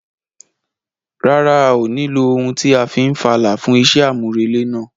Rárá, a ò ní lo ohun tí a fi n fàlà fún iṣẹ́ àmúrelé náà.